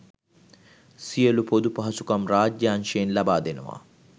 සියලු පොදු පහසුකම් රාජ්‍ය අංශයෙන් ලබා දෙනවා.